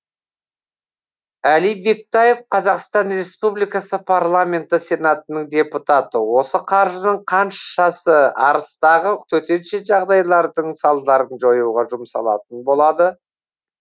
әли бектаев қазақстан республикасы парламенті сенатының депутаты осы қаржының қаншасы арыстағы төтенше жағдайлардың салдарын жоюға жұмсалатын болады